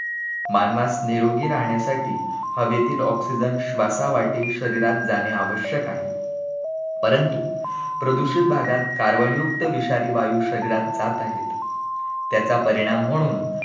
मानवास निरोगी राहण्यासाठी हवेतील oxygen श्वासावाटे शरीरात जाणे आवश्यक आहे, परंतु प्रदूषित भागात carbon युक्त विषारी वायू शरीरात जात आहे, त्याचा परिणाम म्हणून